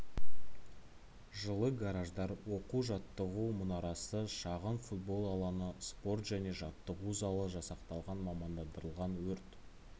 жылы гараждар оқу-жаттығу мұнарасы шағын футбол алаңы спорт және жаттығу залы жасақталған мамандандырылған өрт